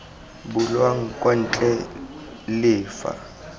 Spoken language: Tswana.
bulwang kwa ntle le fa